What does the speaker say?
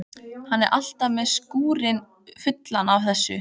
Hann er alltaf með skúrinn fullan af þessu.